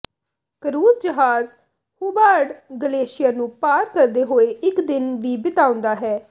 cruise ਜਹਾਜ਼ Hubbard glacier ਨੂੰ ਪਾਰ ਕਰਦੇ ਹੋਏ ਇੱਕ ਦਿਨ ਵੀ ਬਿਤਾਉਂਦਾ ਹੈ